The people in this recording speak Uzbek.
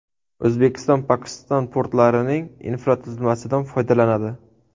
O‘zbekiston Pokiston portlarining infratuzilmasidan foydalanadi.